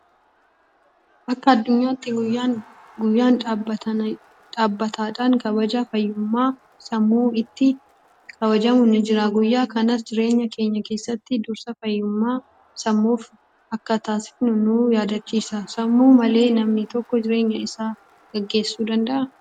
Akka addunyaatti guyyaan dhaabbataadhaan kabaja fayyummaan sammuu itti kabajamu ni jira. Guyyaa kanas jireenya keenya keessatti dursa fayyummaa sammuuf akka taasifnu nu yaadachiisa. Sammuu malee namni tokko jireenya isaa gaggeessuu danda'aa?